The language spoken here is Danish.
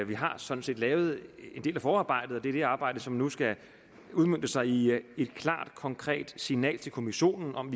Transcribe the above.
vi har sådan set lavet en del af forarbejdet og det er det arbejde som nu skal udmønte sig i et klart og konkret signal til kommissionen om